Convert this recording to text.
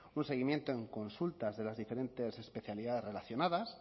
un seguimiento en consultas de las diferentes especialidades relacionadas